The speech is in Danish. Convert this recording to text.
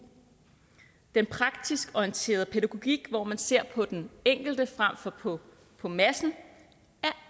den praktisk orienterede pædagogik hvor man ser på den enkelte frem for på på massen er